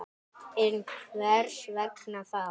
En hvers vegna það?